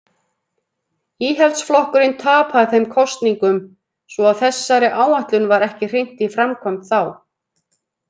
Íhaldsflokkurinn tapaði þeim kosningum svo að þessari áætlun var ekki hrint í framkvæmd þá.